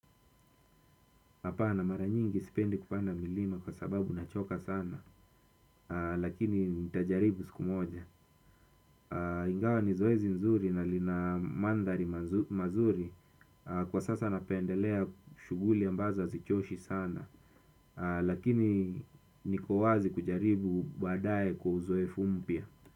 Hapana. Mara nyingi sipendi kupanda milima kwa sababu nachoka sana. Lakini nitajaribu siku moja. Ingawa ni zoezi nzuri na lina mandhari mazuri, kwa sasa napendelea shughuli ambazo hazichoshi sana. Lakini niko wazi kujaribu baadae kwa uzoefu mpya.